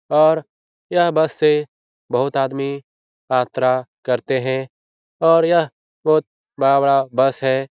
और यह बस से बहुत आदमी यात्रा करते है और यह बहुत बड़ा-बड़ा बस है ।